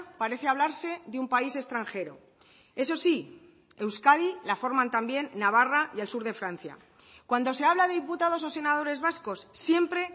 parece hablarse de un país extranjero eso sí euskadi la forman también navarra y el sur de francia cuando se habla de diputados o senadores vascos siempre